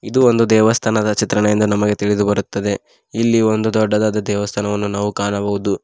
ಒಂದು ದೇವಸ್ಥಾನದ ಚಿತ್ರಣ ಎಂದು ನಮಗೆ ತಿಳಿದು ಬರುತ್ತದೆ ಇಲ್ಲಿ ಒಂದು ದೊಡ್ಡದಾದ ದೇವಸ್ಥಾನವನ್ನು ನಾವು ಕಾಣಬಹುದು.